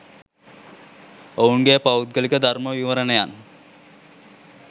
ඔවුන්ගේ පෞද්ගලික ධර්ම විවරණයන්